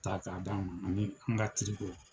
Ta ka d'a ma ani n ka